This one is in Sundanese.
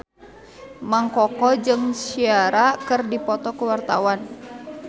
Mang Koko jeung Ciara keur dipoto ku wartawan